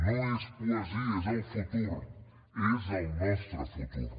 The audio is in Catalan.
no és poesia és el futur és el nostre futur